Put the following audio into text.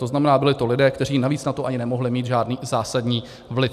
To znamená, byli to lidé, kteří na to navíc ani nemohli mít žádný zásadní vliv.